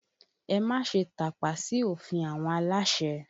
Ẹ má ṣe tàpá sí òfin àwọn aláṣẹ!